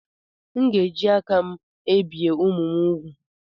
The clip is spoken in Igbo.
M ga-eji aka mbìe ụmụ m úgwù